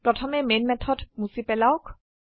প্ৰথমে main method মুছি পেলাওক